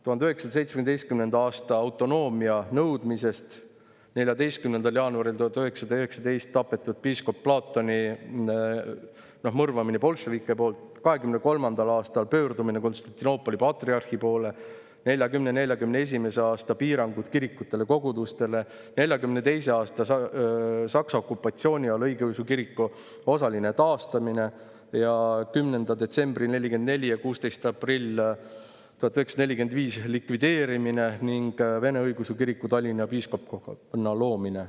1917. aastal autonoomia nõudmine, 14. jaanuaril 1919 piiskop Platoni mõrvamine bolševike poolt, 1923. aastal pöördumine Konstantinoopoli patriarhi poole, 1940.–1941. aasta piirangud kirikutele ja kogudustele, 1942. aasta Saksa okupatsiooni ajal õigeusu kiriku osaline taastamine, 10. detsembril 1944 ja 16. aprillil 1945 selle likvideerimine ning Vene Õigeusu Kiriku Tallinna piiskopkonna loomine.